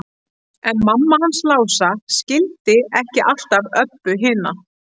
En mamma hans Lása skildi ekki alltaf Öbbu hina.